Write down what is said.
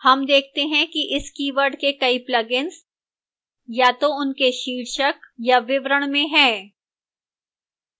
हम देखते हैं कि इस कीवर्ड के कई plugins या तो उनके शीर्षक या विवरण में हैं